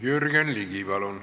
Jürgen Ligi, palun!